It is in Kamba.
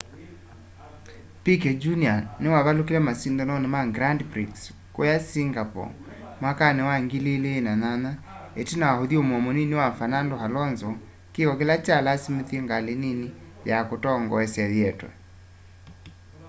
piquet jr niwavalukile masindanoni ma grand prix kuuya singapore mwakani wa 2008 itina wa uthyumuo munini wa fernando alonso kiko kila kyalasimithisye ngali nini ya kutongoesya yietwe